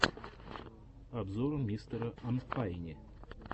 обзор мистера анфайни